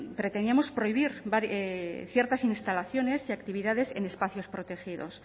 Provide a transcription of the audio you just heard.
pretendíamos prohibir ciertas instalaciones y actividades en espacios protegidos